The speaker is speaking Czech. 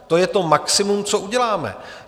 To je to maximum, co uděláme.